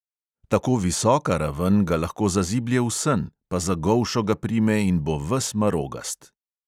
Tako visoka raven ga lahko zaziblje v sen, pa za golšo ga prime in bo ves marogast!